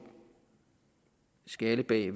skalle i